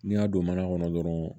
N'i y'a don mana kɔnɔ dɔrɔn